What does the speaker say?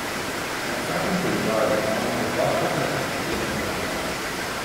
Na vsakem položaju imamo po dva dokaj enakovredna igralca.